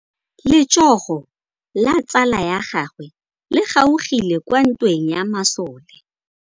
Letsôgô la tsala ya gagwe le kgaogile kwa ntweng ya masole.